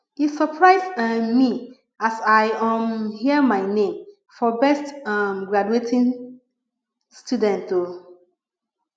e surprise um me as i um hear my name for best um graduating student o